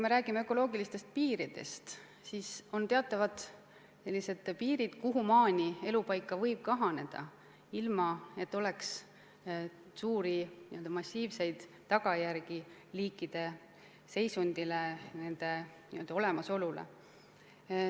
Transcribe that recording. Mis puutub ökoloogilistesse piiridesse, siis teatavasti eksisteerivad sellised piirid, kuhumaani elupaigad võivad kahaneda, ilma et oleks n-ö massiivseid tagajärgi liikide seisundile, nende olemasolule.